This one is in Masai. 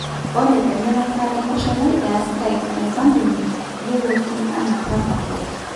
Ore emirata enkosholai easita Enkampuni yioloti ana Rapaport.